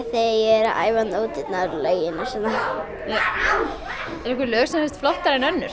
bara nóturnar og lögin og svona einhver lög sem þér finnst flottari en önnur